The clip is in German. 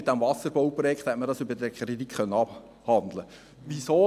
Mit dem Wasserbauprojekt hätte man das über diesen Kredit abhandeln können.